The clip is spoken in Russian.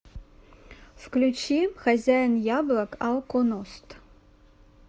включи хозяин яблок алконост